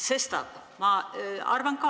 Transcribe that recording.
Sestap ma arvan ka, et ...